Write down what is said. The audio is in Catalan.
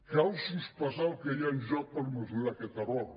cal sospesar el que hi ha en joc per mesurar aquest error